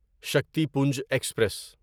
Shaktipunj express